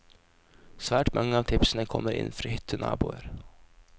Svært mange av tipsene kommer inn fra hyttenaboer.